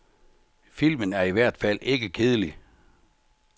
Filmen er i hvert fald ikke kedelig.